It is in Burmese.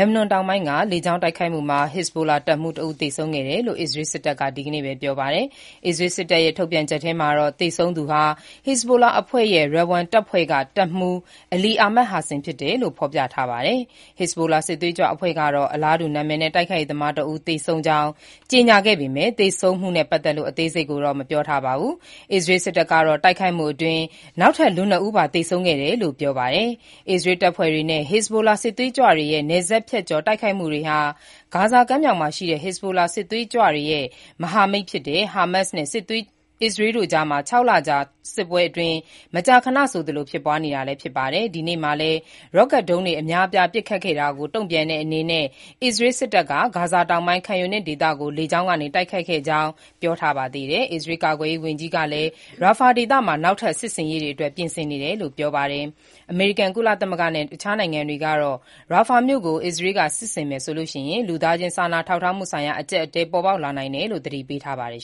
က်ဘနွန်တောင်ပိုင်းက လေကြောင်းတိုက်ခိုက်မှုမှာ အစ္စရေးမြောက်ပိုင်းကို ပစ်မှတ်ထားပြီး တိုက်ခိုက်ခဲ့တဲ့ ဟစ်ဇ်ဘိုလာ တပ်မှူးတဦး သေဆုံးခဲ့တယ်လို့ အစ္စရေးစစ်တပ်က ဒီနေ့ပဲ ပြောပါတယ်။ အစ္စရေးစစ်တပ်ရဲ့ ထုတ်ပြန်ချက်ထဲမှာတော့ သေဆုံးသူဟာ ဟစ်ဇ်ဘိုလာအဖွဲ့ရဲ့ Radwan တပ်ဖွဲ့က တပ်မှူး Ali Ahmad Hassin ဖြစ်တယ်လို့ ဖော်ပြထားပါတယ်။ ဟစ်ဇ်ဘိုလာစစ်သွေးကြွအဖွဲ့ကတော့ အလားတူ နာမည်နဲ့ တိုက်ခိုက်ရေးသမားတဦး သေဆုံးကြောင်း ကြေညာခဲ့ပေမဲ့ သေဆုံးမှုနဲ့ ပတ်သက်လို့ အသေးစိတ်ကိုတော့ မပြောပါဘူး။ အစ္စရေးစစ်တပ်ကတော့ တိုက်ခိုက်မှုအတွင်း နောက်ထပ် လူနှစ်ဦးပါ သေဆုံးခဲ့တယ်လို့ပြောပါတယ်။ အစ္စရေး တပ်ဖွဲ့တွေနဲ့ ဟစ်ဇ်ဘိုလာ စစ်သွေးကြွတွေရဲ့ နယ်စပ်ဖြတ်ကျော် တိုက်ခိုက်မှုတွေဟာ ဂါဇာကမ်းမြှောင်ရှိ ဟစ်ဇ်ဘိုလာစစ်သွေးကြွတွေရဲ့ မဟာမိတ်ဖြစ်တဲ့ ဟားမတ်စ်နဲ့ အစ္စရေးတို့ကြား ခြောက်လကြာ စစ်ပွဲအတွင်း မကြာခဏဆိုသလို ဖြစ်ပွားနေပါတယ်။ ဒီနေ့မှာပဲ ရော့ကတ်ဒုံးတွေ အများအပြား ပစ်ခတ်ခဲ့တာကို တုံ့ပြန်တဲ့အနေနဲ့ အစ္စရေးစစ်တပ်က ဂါဇာတောင်ပိုင်း Khan Younis ဒေသကို လေကြောင်းက တိုက်ခိုက်ခဲ့ကြောင်း အစ္စရေးစစ်တပ်က ပြောပါတယ်။ အစ္စရေးကာကွယ်ရေးဝန်ကြီး Yoav Gallant ကလည်း Rafah ဒေသမှာ နောက်ထပ် စစ်ဆင်ရေးတွေအတွက် ပြင်ဆင်နေတယ်လို့ ပြောပါတယ်။ အမေရိကန်၊ ကုလသမဂ္ဂနဲ့ အခြားနိုင်ငံတွေကတော့ Rafah မြို့ကို အစ္စရေးက ထိုးစစ်ဆင်မယ်ဆိုရင် လူသားချင်းစာနာထောက်ထားမှုဆိုင်ရာ အကျပ်အတည်း ပေါ်ပေါက်လာနိုင်တယ်လို့ သတိပေးထားပါတယ်